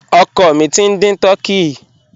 Ọ̀kọ́ mí tí n dín tùrkèyì.